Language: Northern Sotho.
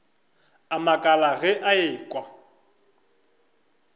a makala ge a ekwa